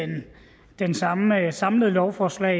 samlede lovforslag